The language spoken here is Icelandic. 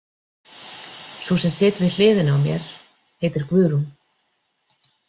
Sú sem situr við hliðina á mér heitir Guðrún.